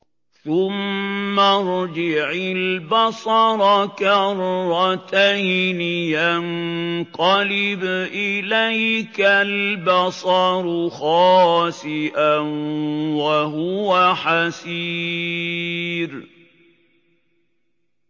ثُمَّ ارْجِعِ الْبَصَرَ كَرَّتَيْنِ يَنقَلِبْ إِلَيْكَ الْبَصَرُ خَاسِئًا وَهُوَ حَسِيرٌ